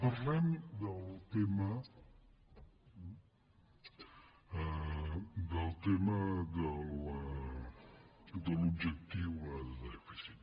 parlem del tema del tema de l’objectiu de dèficit